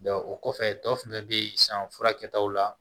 o kɔfɛ tɔ fɛnɛ be yen sisan fura kɛtaw la